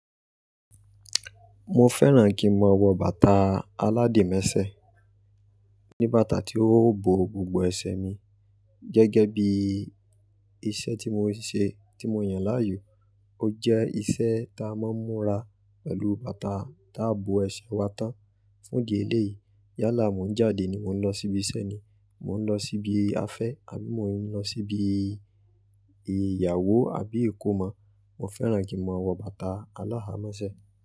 Mo fẹ́ràn kí n máa wọ bàtà aládìímẹ́sẹ̀. Ni bàtà tí ó bo gbogbo ẹsẹ̀ mi gẹ́gẹ́ bí iṣẹ́ tí mo ń ṣe, tí mo yàn láàyò. Ó jẹ́ iṣẹ́ ta máa ń múra pẹ̀lú bàtà ta bo ẹsẹ̀ wa tán. Fún ìdí eléyìí, yálà mo ń jáde ni mò ń lọ síbi iṣẹ́ ni, mò ń lọ síbi afẹ́ àbí mò ń lọ síbi ìyàwó àbí ìkómọ, mo fẹ́ràn kí n máa wọ bàtà aláhamẹ́sẹ̀